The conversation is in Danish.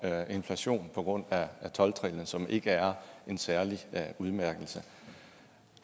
inflation på grund af tolv trinnet som ikke er en særlig udmærkelse